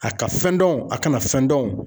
A ka fɛn dɔnw a kana fɛn dɔnw.